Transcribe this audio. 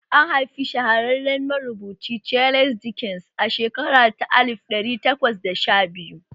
An haifi shahararren marubuci Charles Dickens a shekara ta alif ɗari takwas da sha biyu